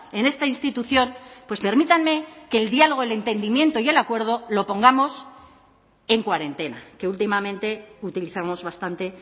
en esta institución pues permítanme que el diálogo el entendimiento y el acuerdo lo pongamos en cuarentena que últimamente utilizamos bastante